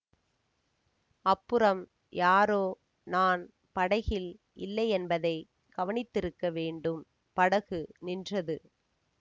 அப்புறம் யாரோ நான் படகில் இல்லையென்பதைக் கவனித்திருக்க வேண்டும் படகு நின்றது